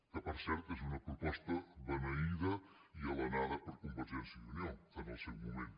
que per cert és una proposta beneïda i alenada per convergència i unió en el seu moment